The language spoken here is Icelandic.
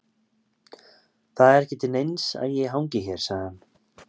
Það er ekki til neins að ég hangi hér, sagði hann.